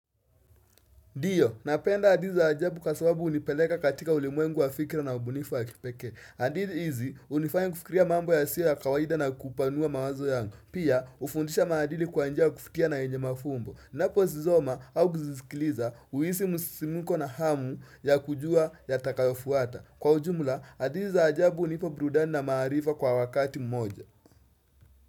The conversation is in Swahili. Ndiyo, napenda hadithi za ajabu kwa sababu hunipeleka katika ulimwengu wa fikira na ubunifu wa kipekee. Hadithi hizi, hunifanya kufikiria mambo yasiyo ya kawaida na kupanua mawazo yangu. Pia, hufundisha maadili kwa njia ya kufikiria na yenye mafumbo. Ninaposoma au kusikiliza, huhisi msisimko na hamu ya kujua yatakayofuata. Kwa ujumla, hadithi za ajabu hunipa burudani na maarifa kwa wakati mmoja.